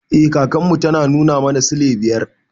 Eh kakan mu tana nuna mana silai biyar.